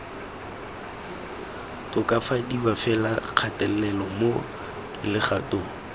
tokafadiwa fela kgatelelo mo legatong